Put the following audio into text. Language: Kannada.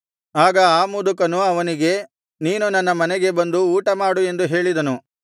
ಆಗ ಆ ಮುದುಕನು ಅವನಿಗೆ ನೀನು ನನ್ನ ಮನೆಗೆ ಬಂದು ಊಟಮಾಡು ಎಂದು ಹೇಳಿದನು